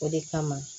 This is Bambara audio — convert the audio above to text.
O de kama